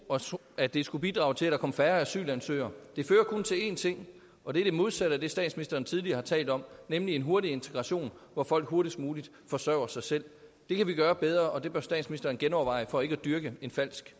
at det skulle bidrage til at der kom færre asylansøgere det fører kun til én ting og det er det modsatte af det statsministeren tidligere har talt om nemlig en hurtig integration hvor folk hurtigst muligt forsørger sig selv det kan vi gøre bedre og det bør statsministeren genoverveje for ikke at dyrke en falsk